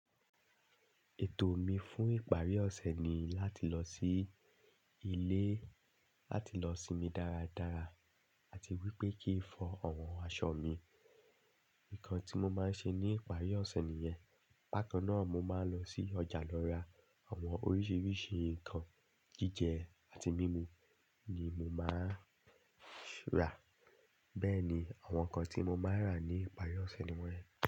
Ètò mi fún ìparí ọ̀sẹ̀ ni láti lọ sí ilé, láti lọ sinmi dáradára àti wípé kì í fọ àwọn aṣọ mi. Ǹkan tí mo máa ń ṣe ní ìparí ọ̀sẹ̀ nìyẹn. Bakan náà mo máa ń lọ sí ọjà lọ ra àwọn oríṣiríṣi nǹkan jíjẹ àti mímu ni mo máa ń rà. Bẹ́ẹ̀ ni, àwọn nǹkan tí mo máa rà ní ìparí ọ̀sẹ̀ nìyẹn.